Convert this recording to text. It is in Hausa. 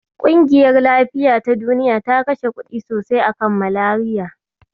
Ƙungiyar lafiya ta Duniya ta kashe kuɗi sosai a kan Malariya.